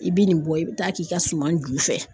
E be nin bɔ e be taa k'i ka suman ju fɛ